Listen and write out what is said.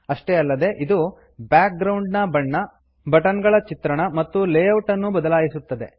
ಅಷ್ಟೇ ಅಲ್ಲದೆ ಇದು ಬ್ಯಾಕ್ ಗ್ರೌಂಡ್ ನ ಬಣ್ಣ ಬಟನ್ ಗಳ ಚಿತ್ರಣ ಮತ್ತು ಲೇಔಟ್ ಅನ್ನೂ ಬದಲಾಯಿಸುತ್ತದೆ